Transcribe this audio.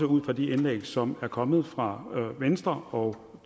ud fra de indlæg som er kommet fra venstre og